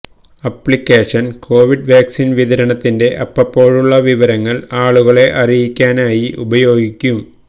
ആപ്ലിക്കേഷന് covid vaccine വിതരണത്തിന്റെ അപ്പപ്പോഴുള്ള വിവരങ്ങള് ആളുകളെ അറിയിക്കാനായി ഉപയോഗിക്കും